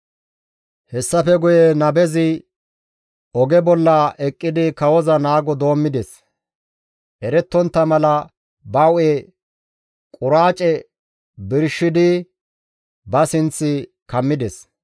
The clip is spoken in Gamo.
Hessafe guye nabezi oge bolla bi eqqidi kawoza naago doommides; erettontta mala ba hu7e quraace birshidi ba sinth kammides.